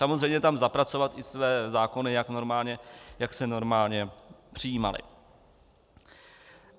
Samozřejmě tam zapracovat i své zákony, jak se normálně přijímaly.